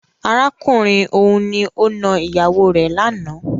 Arákùnrin ọ̀hùn ni o nà ìyàwó rè lánàá.